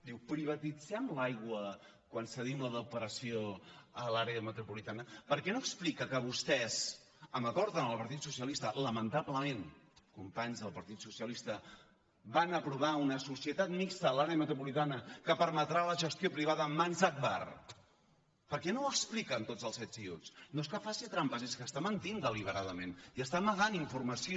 diu privatitzem l’aigua quan cedim la depuració a l’àrea metropolitana per què no explica que vostès d’acord amb el partit socialista lamentablement companys del partit socialista van aprovar una societat mixta a l’àrea metropolitana que permetrà la gestió privada en mans d’agbar per què no ho explica amb tots els ets i uts no és que faci trampes és que està mentint deliberadament i està amagant informació